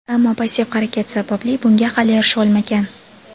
ammo passiv harakat sababli bunga hali erisha olmagan.